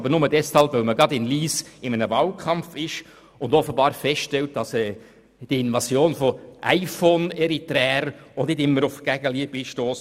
Aber nur deswegen, weil man sich in Lyss im Wahlkampf befindet und offenbar feststellt, dass die Invasion von «iPhone-Eritreern» bei der Bevölkerung auch nicht immer auf Gegenliebe stösst.